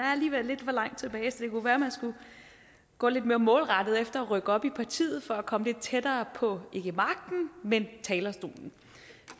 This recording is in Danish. alligevel lidt for langt tilbage så det kunne være man skulle gå lidt mere målrettet efter at rykke op i partiet for at komme lidt tættere på ikke magten men talerstolen